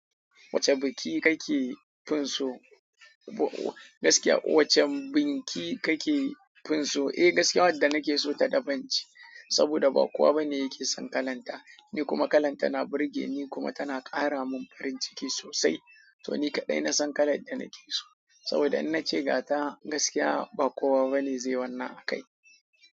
Wacce biki kake finso? Gaskiya Wacce biki kake finso? Eh gaskiya wadda nake so ta daban ce, saboda ba kowa bane yake son kalanta, ni kuma kalanta na burge ni kuma tana ƙara mun farin ciki sosai. To ni kaɗai na san kalar da nake so, saboda in na ce ga ta gaskiya ba kowa bane zai wanna a kai.